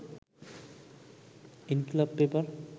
Inqilab paper